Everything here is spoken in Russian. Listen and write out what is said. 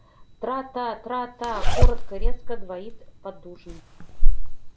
тра-та тра-та коротко и резко двоит поддужный